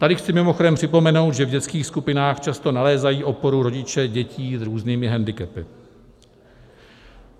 Tady chci mimochodem připomenout, že v dětských skupinách často nalézají oporu rodiče dětí s různými hendikepy.